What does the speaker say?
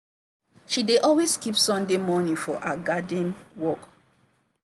she dey always keep sunday morning for her garden work.